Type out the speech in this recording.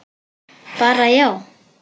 Bara já?